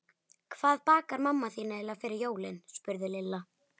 Hvað bakar mamma þín eiginlega fyrir jólin? spurði Lilla.